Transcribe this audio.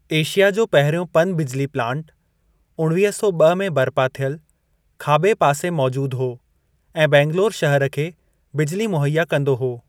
Asia जो पहिरियों पन-बिजली प्लांटु (उणिवीह सौ ब॒ में बरिपा थियलु) खाॿे पासे मौजूद हो ऐं बैंगलोरु शहर खे बिजली मुहैया कंदो हो।